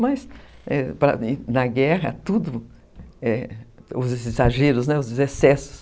Mas, na guerra, tudo, é, os exageros, os excessos...